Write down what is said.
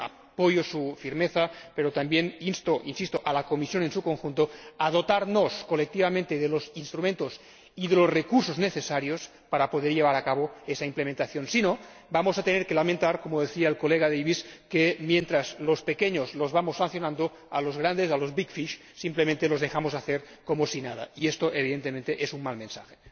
Apoyo su firmeza, pero también insto a la Comisión en su conjunto a dotarnos colectivamente de los instrumentos y de los recursos necesarios para llevar a cabo esa implementación, si no vamos a tener que lamentar como decía el señor Davis que mientras a los pequeños los vamos sancionando, a los grandes, a los big fish simplemente los dejamos hacer como si nada, y esto, evidentemente, es un mal mensaje.